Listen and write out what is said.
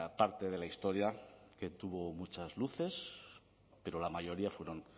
parte de la historia que tuvo muchas luces pero la mayoría fueron